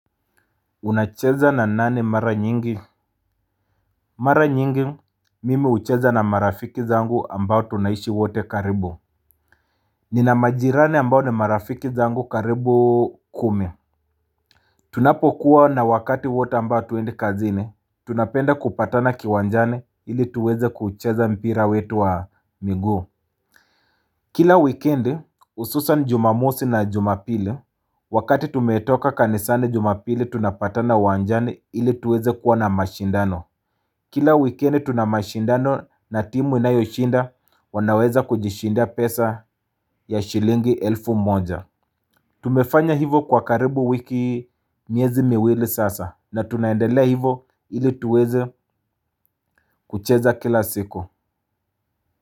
Unacheza na nani mara nyingi. Mara nyingi mimi hucheza na marafiki zangu ambao tunaishi wote karibu. Nina majirani ambao ni marafiki zangu karibu kumi. Tunapo kuwa na wakati wote ambao hatuendi kazini tunapenda kupatana kiwanjani ili tuweze kucheza mpira wetu wa miguu. Kila wikendi hususan jumamosi na jumapili wakati tumetoka kanisani jumapili tunapatana iwanjani ili tuweze kuwa na mashindano. Kila wikendi tuna mashindano na timu inayoshinda wanaweza kujishindia pesa ya shilingi elfu moja. Tumefanya hivo kwa karibu wiki miezi miwili sasa na tunaendelea hivo ili tuweze kucheza kila siku.